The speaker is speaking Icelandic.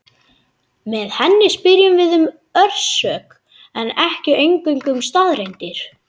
Með henni spyrjum við um orsök en ekki eingöngu um staðreyndir.